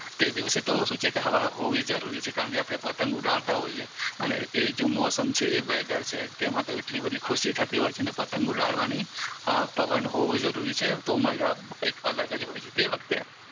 તે દિવસે તો શું કે છે હવા હોવી જરૂરી છે કારણ કે આપણે પતંગ ઉડાડતા હોઈએ અને એજ મોસમ છે વેધર છે તેમાંતો એટલી બધી ખુશી થતી હોય છે પતંગ ઉડાડવાની પવન હોવો જરૂરી છે તો મજા કઈ અલગ જ હોય છે તે વખતે